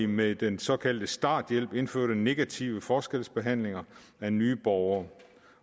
med den såkaldte starthjælp indførte i negativ forskelsbehandling af nye borgere